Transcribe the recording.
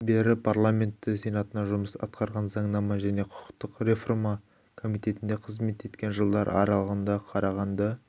бері парламенті сенатында жұмыс атқарған заңнама және құқықтық рефрма комитетінде қызмет еткен жылдар аралығында қарағанды